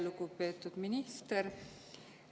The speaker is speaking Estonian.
Lugupeetud minister!